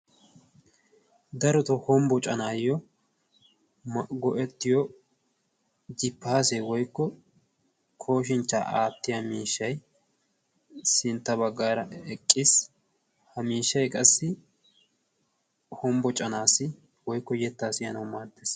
daroto hombbo canaayyo mago7ettiyo gippaase woikko kooshinchchaa aattiya miishshai sintta baggaara eqqiis ha miishshai qassi hombbocanaassi woikko yettaa siyanawu maaddes